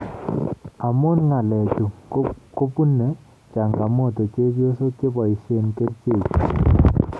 Amu ngaleechu kubune changamoto chebyosok cheboisye kerichechu